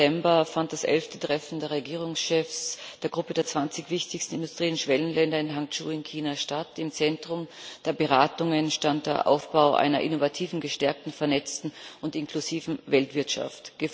5. September fand das 11. Treffen der Regierungschefs der Gruppe der 20 wichtigsten Industrie und Schwellenländer in Hangzhou in China statt. Im Zentrum der Beratungen stand der Aufbau einer innovativen, gestärkten, vernetzten und inklusiven Weltwirtschaft.